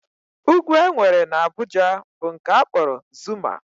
Ugwu e nwere n'Abuja bụ nke a kpọrọ Zuma